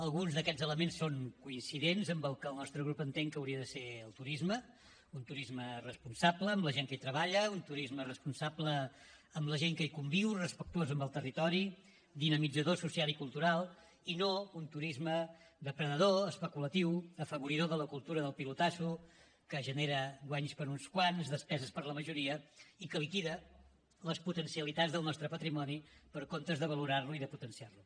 alguns d’aquests elements són coincidents amb el que el nostre grup entén que hauria de ser el turisme un turisme responsable amb la gent que hi treballa un turisme responsable amb la gent que hi conviu respectuós amb el territori dinamitzador social i cultural i no un turisme depredador especulatiu afavoridor de la cultura del pilotasso que genera guanys per a uns quants despeses per a la majoria i que liquida les potencialitats del nostre patrimoni en comptes de valorar lo i de potenciar lo